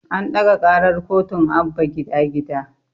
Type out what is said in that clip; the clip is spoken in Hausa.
An ɗaga ƙarar kotun Abba gida gida